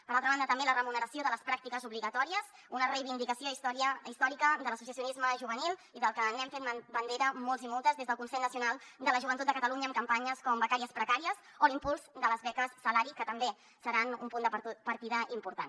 per altra banda també la remuneració de les pràctiques obli·gatòries una reivindicació històrica de l’associacionisme juvenil i de la que hem fet bandera molts i moltes des del consell nacional de la joventut de catalunya amb campanyes com becàries precàries o l’impuls de les beques salari que també se·ran un punt de partida important